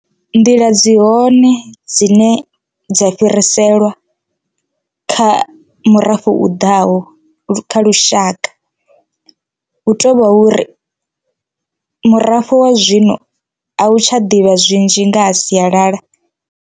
Nḓila dzi hone dzine dza fhiriselwa kha murafho u ḓaho kha lushaka hu tovha uri murafho wa zwino a u tsha ḓivha zwinzhi nga ha sialala.